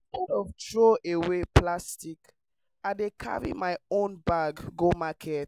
instead of throwaway plastic i dey carry my own bag go market